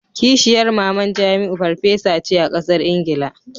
Kishiyar maman jamiu farfesa ce a kasar Ingila.